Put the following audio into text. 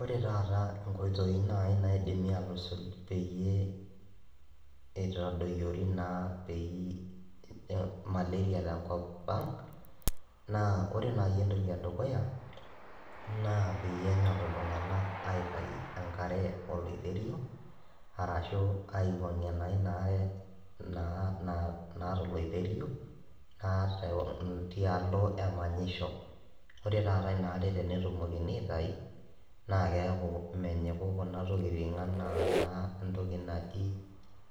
Ore taata nkoitoi naaji naidimi aatusuj peyie eitadoyiori naa peyie malaria tenkop ang naa. Ore naaji entoki e dukuya naa peyie enyok iltung`anak aitayu enkare oloiterio arashu aiwuang`ie naa ina are naa naata oleiterio tialo emanyisho. Ore taata ina are tenetumokini aitayu naa keeku mmenyiku kuna tokitin enaa entoki naji,